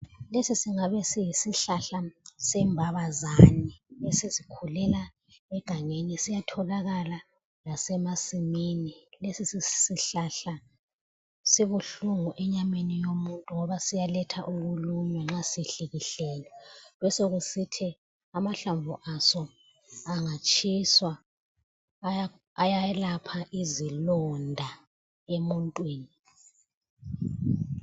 Lesi singabe yisihlahla sembabazane esizikhulela egangeni siyatholakala lasemasimini ,lesi sihlahla sibuhlungu enyameni yomuntu ngoba siyaletha ukuluma nxa sihlikihlelwe. Besokusithi amahlamvu aso angatshiswa ayayelapha izilonda emuntwini.